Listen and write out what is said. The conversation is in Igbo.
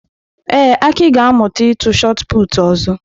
Ee, Aki ga-amụta ịtụ Shot Put ọzọ.